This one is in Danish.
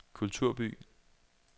kulturby